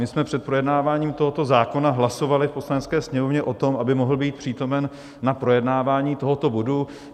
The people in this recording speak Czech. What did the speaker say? My jsme před projednáváním tohoto zákona hlasovali v Poslanecké sněmovně o tom, aby mohl být přítomen na projednávání tohoto bodu.